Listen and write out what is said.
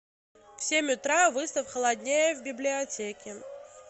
в семь утра выставь холоднее в библиотеке